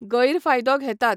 गैर फायदो घेतात